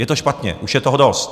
Je to špatně, už je toho dost.